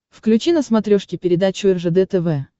включи на смотрешке передачу ржд тв